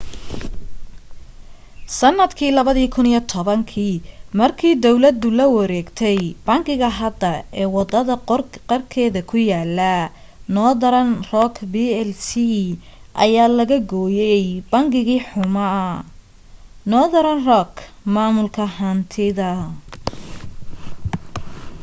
sanadkii 2010 markii dawladda la wareegtay bangiga hadda ee wadada qarkeeda ku yaalo northern rock plc ayaa laga gooyay ‘bangigii xumaa’ northern rock maamulka hantida